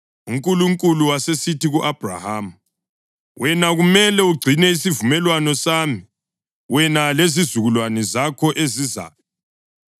UNkulunkulu wasesithi ku-Abhrahama, “Wena kumele ugcine isivumelwano sami, wena lezizukulwane zakho ezizayo.